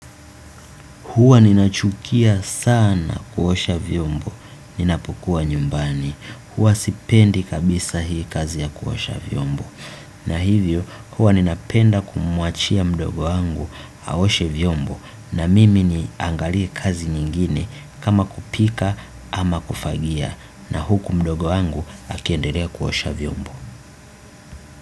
Hua ninachukia sana kuosha vyombo, ninapokua nyumbani, huwa sipendi kabisa hii kazi ya kuosha vyombo. A hivyo huwa ninapenda mdogo wangu aoshe vyombo na mimi niangalie kazi nyingine kama kupika ama kufagia na huku mdogo wangu akiendelea kuosha vyombo.